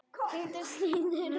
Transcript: Tengdar síður